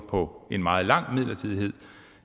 på en meget lang midlertidighed